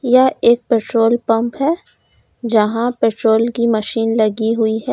यह एक petrol pump है जहां पेट्रोल की मशीन लगी हुई है।